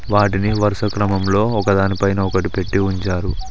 వాటిని వరుస క్రమంలో ఒకదానిపైన ఒకటి పెట్టి ఉంచారు.